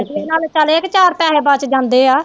ਚੱਲ ਏਹ ਕੇ ਚਾਰ ਪੈਸੇ ਬੱਚ ਜਾਂਦੇ ਆ